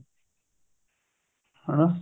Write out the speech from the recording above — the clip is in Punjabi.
ਹਣਾ